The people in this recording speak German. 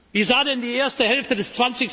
ist. Wie sah denn die erste Hälfte